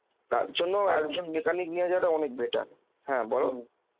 তার জন্য mechanic নিয়ে যাওয়াটা অনেক better, হ্যাঁ